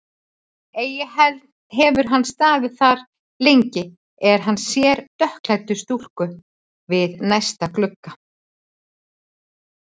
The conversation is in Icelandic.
Eigi hefur hann staðið þar lengi, er hann sér dökkklædda stúlku við næsta glugga.